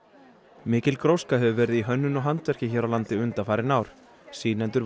mikil gróska hefur verið í hönnun og handverki hér á landi undanfarin ár sýnendur voru